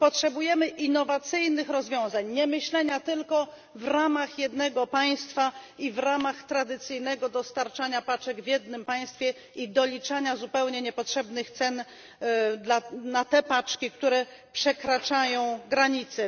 Potrzebujemy innowacyjnych rozwiązań, a nie myślenia tylko w ramach jednego państwa i w ramach tradycyjnego dostarczania paczek w jednym państwie, i doliczania zupełnie niepotrzebnych cen za te paczki, które przekraczają granice.